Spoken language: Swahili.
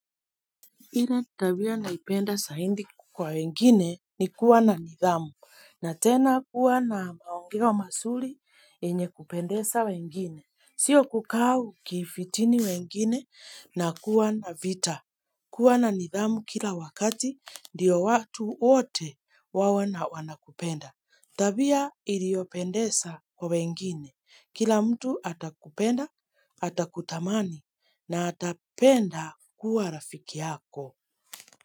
Ile tabia naipenda zaidi kwa wengine ni kuwa na nidhamu. Na tena kuwa na maongeoi wa mazuri yenye kupendeza wengine. Sio kukaa ukifitini wengine na kuwa na vita. Kuwa na nidhamu kila wakati ndiyo watu wote wawe wanakupenda. Tabia iliopendeza kwa wengine. Kila mtu atakupenda, atakutamani na atapenda kuwa rafiki yako.